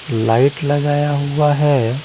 Light लगाया हुआ हैं।